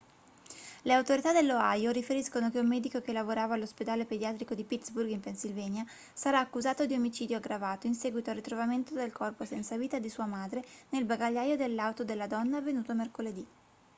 le autorità dell'ohio riferiscono che un medico che lavorava all'ospedale pediatrico di pittsburgh in pennsylvania sarà accusato di omicidio aggravato in seguito al ritrovamento del corpo senza vita di sua madre nel bagagliaio dell'auto della donna avvenuto mercoledì